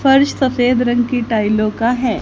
फर्श सफेद रंग की टाइलों का है।